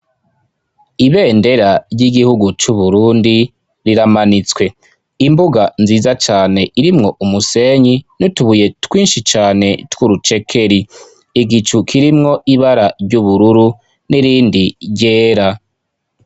Ibendera ry'igihugu c'uburundi riramanitswe. Imbuga nziza cane irimwo umusenyi n'utubuye twinshi cane tw'urucekeri. iigicu kirimwo ibara ry'ubururu n'irindi ryera.